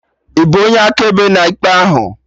Ịbụ onye akaebe na ikpe ahụ?